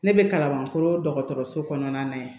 Ne bɛ kalabankoro dɔgɔtɔrɔso kɔnɔna na